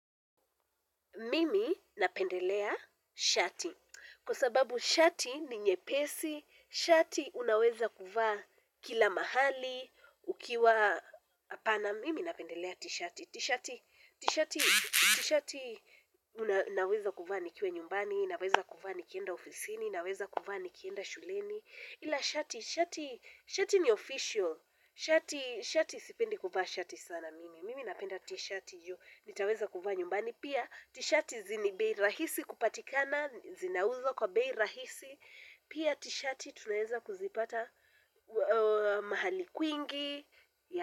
Mimi napendelea shati, kwa sababu shati ni nyepesi, shati unaweza kuvaa kila mahali, ukiwa apana. Mimi napendelea t-shati. T-shati t-shati t-shati una naweza kuvaa nikiwa nyumbani, naweza kuvaa nikienda ofisini, naweza kuvaa nikienda shuleni. Ila shati, shati, shati ni official, shati, shati sipendi kuvaa shati sana mimi, mimi napenda t-shati yu, nitaweza kuvaa nyumbani, pia t-shati zini bei rahisi kupatikana, zinauzwa kwa bei rahisi, pia t-shati tunaeza kuzipata mahali kwingi.